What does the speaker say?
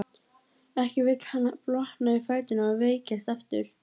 Ekki vill hann blotna í fæturna og veikjast aftur.